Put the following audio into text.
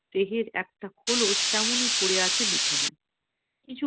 দেহের একটা খোলস তেমনি পড়ে আছে বিছানায় কিছু